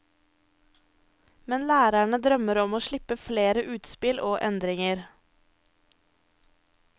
Men lærerne drømmer om å slippe flere utspill og endringer.